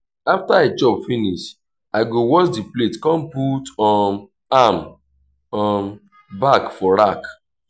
after i chop finish i go wash di plate con put um am um back for rack